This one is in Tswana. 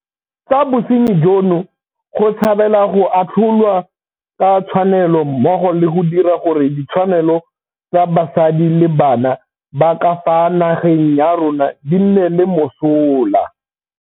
Tsa bosenyi jono go tshabela go atlholwa ka tshwanelo mmogo le go dira gore ditshwanelo tsa basadi le bana ba ka fa nageng ya rona di nne le mosola.